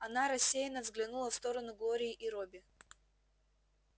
она рассеянно взглянула в сторону глории и робби